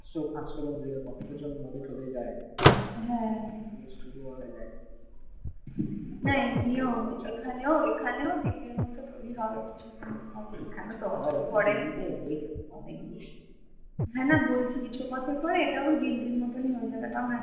হ্যাঁ না কিছু বছর পরে এটাও দিল্লির মতনই হয়ে যাবে।